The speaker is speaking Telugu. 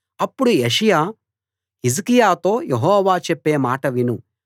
అప్పుడు యెషయా హిజ్కియాతో యెహోవా చెప్పే మాట విను